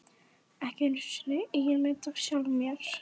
Ekki einu sinni eigin mynd af sjálfum mér.